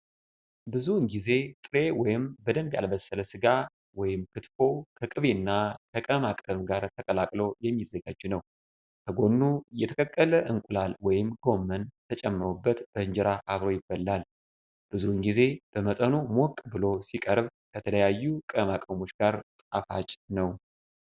ብዙውን ጊዜ ጥሬ ወይም በደንብ ያልበሰለ ስጋ (ክትፎ) ከቅቤና ከቅመማ ቅመም ጋር ተቀላቅሎ የሚዘጋጅ ነው። ከጎኑ የተቀቀለ እንቁላል ወይም ጎመን ተጨምሮበት በእንጀራ አብሮ ይበላል። ብዙውን ጊዜ በመጠኑ ሞቅ ብሎ ሲቀርብ፣ ከተለያዩ ቅመማ-ቅመሞች ጋር ጣፋጭ ነው።